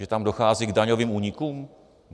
Že tam dochází k daňovým únikům?